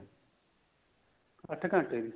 ਅੱਠ ਘੰਟੇ ਦੀ